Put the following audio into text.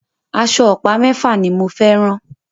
Aṣọ ọ̀pá mẹ́fà ni mo fẹ́ rán.